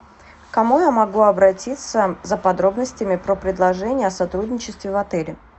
к кому я могу обратиться за подробностями про предложение о сотрудничестве в отеле